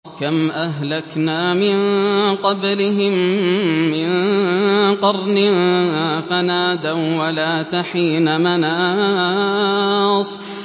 كَمْ أَهْلَكْنَا مِن قَبْلِهِم مِّن قَرْنٍ فَنَادَوا وَّلَاتَ حِينَ مَنَاصٍ